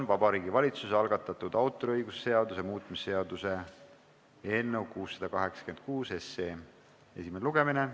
Vabariigi Valitsuse algatatud autoriõiguse seaduse muutmise seaduse eelnõu 686 esimene lugemine.